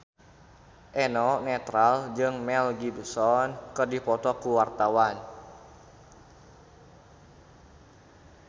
Eno Netral jeung Mel Gibson keur dipoto ku wartawan